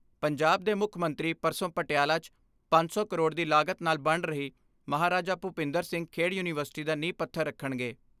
ਪੰਜਾਬ ਦੇ ਮੁੱਖ ਮੰਤਰੀ ਪਰਸੋਂ ਪਟਿਆਲਾ 'ਚ ਪੰਜ ਸੌ ਕਰੋੜ ਦੀ ਲਾਗਤ ਨਾਲ ਬਣ ਰਹੀ ਮਹਾਰਾਜਾ ਭੁਪਿੰਦਰ ਸਿੰਘ ਖੇਡ ਯੂਨੀਵਰਸਿਟੀ ਦਾ ਨੀਂਹ ਪੱਥਰ ਰੱਖਣਗੇ।